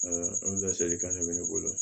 laselikan de bɛ ne bolo